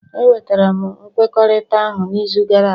Enwetara m nkwekọrịta ahụ n'izu gara aga